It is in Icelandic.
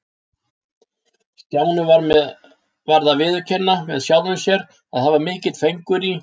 Stjáni varð að viðurkenna með sjálfum sér að það var mikill fengur í